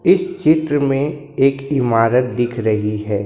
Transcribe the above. इस चित्र में एक इमारत दिख रही है।